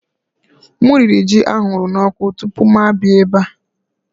M riri ji a huru n'ọkụ tupu m abịa ebe a